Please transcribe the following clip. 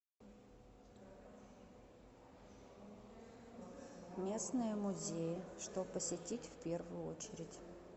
местные музеи что посетить в первую очередь